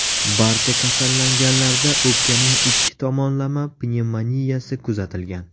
Barcha kasallanganlarda o‘pkaning ikki tomonlama pnevmoniyasi kuzatilgan.